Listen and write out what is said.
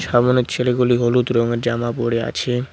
সামনের ছেলেগুলি হলুদ রংয়ের জামা পড়ে আছে।